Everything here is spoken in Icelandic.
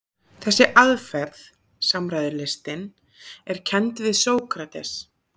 Þessi aðferð, samræðulistin, er kennd við Sókrates.